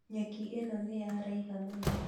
Nyeki ĩno nĩyaraiha mũno